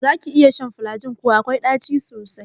Zaki iya shan falajin kuwa? akwai ɗaci sosai.